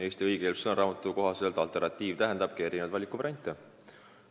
Eesti õigekeelsussõnaraamatu kohaselt sõna "alternatiiv" tähendabki erinevaid valikuvariante.